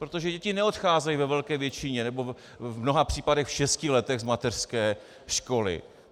Protože děti neodcházejí ve velké většině, nebo v mnoha případech v šesti letech z mateřské školy.